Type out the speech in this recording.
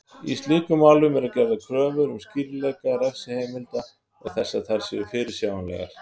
Í slíkum málum eru gerðar kröfur um skýrleika refsiheimilda og þess að þær séu fyrirsjáanlegar.